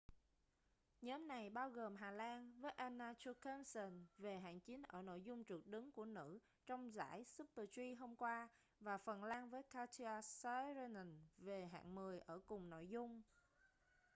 nhóm này bao gồm hà lan với anna jochemsen về hạng chín ở nội dung trượt đứng của nữ trong giải super-g hôm qua và phần lan với katja saarinen về hạng mười ở cùng nội dung